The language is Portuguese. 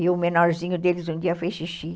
E o menorzinho deles um dia fez xixi.